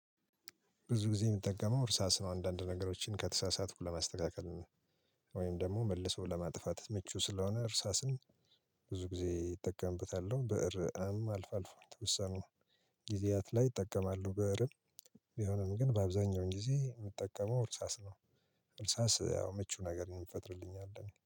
ብዙ ጊዜ የምጠቀመው እርሳስ ነው አንዳንድ ነገሮችን ከተሳሳትኩ ለማስተካከል ነው። ወይም ደግሞ መልሰው ለማጥፋት ምቹ ስለሆነ እርሳስን። ብዙ ጊዜ እጠቀምበታል ብዕርም አልፎ አልፎ የተወሰኑ ጊዜያት ላይ እጠቀማሉ። ብዕርም ቢሆንም ግን በአብዛኛው ጊዜ የምጠቀመው እርሳስ ነው። እርሳስ ያው ምቹ ነገር ይፈጥርልኛል